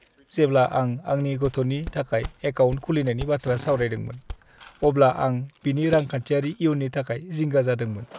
जेब्ला आं आंनि गथ'नि थाखाय एकाउन्ट खुलिनायनि बाथ्रा सावरायदोंमोन, अब्ला आं बिनि रांखान्थियारि इयुननि थाखाय जिंगा जादोंमोन।